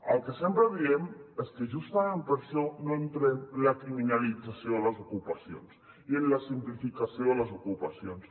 el que sempre diem és que justament per això no entrem en la criminalització de les ocupacions i en la simplificació de les ocupacions